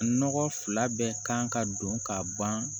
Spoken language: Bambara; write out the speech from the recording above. Nɔgɔ fila bɛɛ kan ka don ka ban